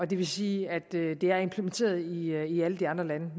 det vil sige at det er implementeret i alle de andre lande og